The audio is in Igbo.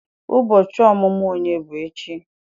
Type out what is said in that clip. Ubochi omumu onye bu echi?